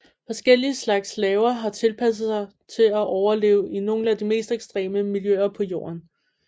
Forskellige slags laver har tilpasset sig til at overleve i nogle af de mest ekstreme miljøer på Jorden